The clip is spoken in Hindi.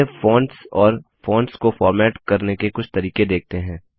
चलिए अब फोंट्स और फोंट्स को फॉर्मेट करने के कुछ तरीके देखते हैं